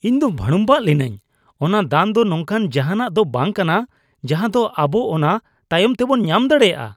ᱤᱧ ᱫᱚ ᱵᱷᱟᱲᱩᱢᱵᱷᱟᱜ ᱞᱤᱱᱟᱹᱧ ! ᱚᱱᱟ ᱫᱟᱱ ᱫᱚ ᱱᱚᱝᱠᱟᱱ ᱡᱟᱦᱟᱱᱟᱜ ᱫᱚ ᱵᱟᱝ ᱠᱟᱱᱟ ᱡᱟᱦᱟ ᱫᱚ ᱟᱵᱚ ᱚᱱᱟ ᱛᱟᱭᱚᱢ ᱛᱮᱵᱚᱱ ᱧᱟᱢ ᱫᱟᱲᱮᱭᱟᱜᱼᱟ ᱾